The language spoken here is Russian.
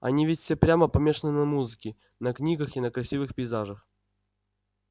они ведь все прямо помешаны на музыке на книгах и на красивых пейзажах